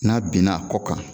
N'a binn'a kɔ kan